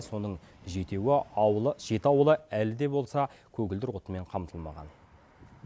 соның жеті ауылы әлі де болса көгілдір отынмен қамтылмаған